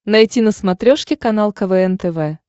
найти на смотрешке канал квн тв